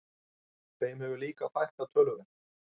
Þeim hefur líka fækkað töluvert